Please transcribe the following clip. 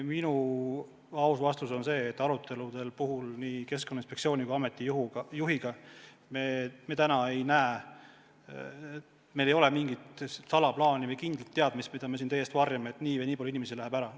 Minu aus vastus on see, et aruteludes nii inspektsiooni kui ameti juhiga me pole näinud – meil ei ole mingit salaplaani või kindlat teadmist, mida me tahaksime teie eest varjata –, et nii või nii palju inimesi läheb ära.